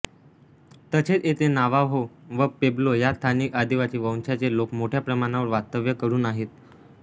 तसेच येथे नावाहो व पेब्लो ह्या स्थानिक आदिवासी वंशाचे लोक मोठ्या प्रमाणावर वास्तव्य करून आहेत